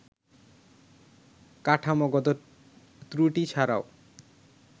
কাঠামোগত ত্রুটি ছাড়াও